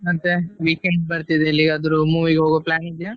ಮತ್ತೆ weekend ಬರ್ತಿದೆ ಎಲ್ಲಿಗಾದ್ರೂ movie ಗೆ ಹೋಗೊ plan ಇದ್ಯಾ?